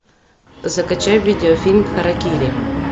закачай видеофильм харакири